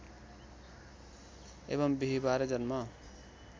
एवम् बिहीबार जन्म